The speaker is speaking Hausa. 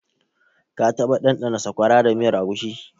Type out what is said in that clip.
Ka taɓa ɗanɗana Sakwara da miyar agushi?